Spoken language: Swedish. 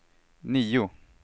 nio